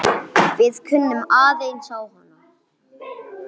Við kunnum aðeins á hana.